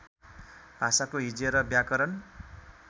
भाषाको हिज्जे र व्याकरण